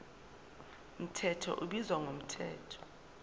mthetho ubizwa ngomthetho